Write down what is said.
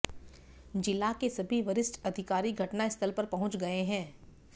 जिला के सभी वरिष्ठ अधिकारी घटनास्थल पर पहुंच गए हैं